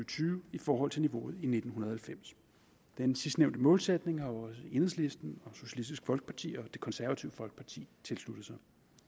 tyve i forhold til niveauet i nitten halvfems den sidstnævnte målsætning har også enhedslisten socialistisk folkeparti og det konservative folkeparti tilsluttet sig